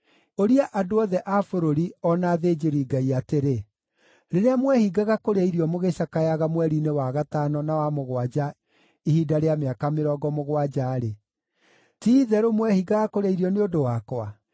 “Ũria andũ othe a bũrũri o na athĩnjĩri-Ngai atĩrĩ, ‘Rĩrĩa mwehingaga kũrĩa irio mũgĩcakayaga mweri-inĩ wa gatano na wa mũgwanja ihinda rĩa mĩaka mĩrongo mũgwanja-rĩ, ti-itherũ mwehingaga kũrĩa irio nĩ ũndũ wakwa?